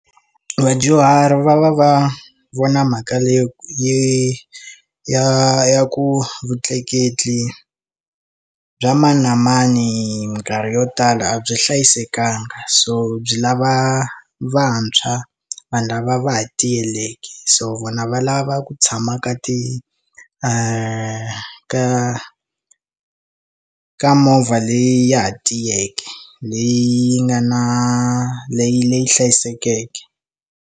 Vadyuhari va va va vona mhaka leyo yi ya ku vutleketli bya mani na mani hi minkarhi yo tala a byi hlayisekangi so byi lava vantshwa vanhu lava va ha tiyileki so vona va lava ku tshama ka ti ka movha leyi ya ha tiyeke leyi nga na leyi leyi hlayisekeke.